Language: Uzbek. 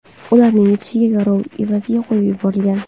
Ularning yettitasi garov evaziga qo‘yib yuborilgan.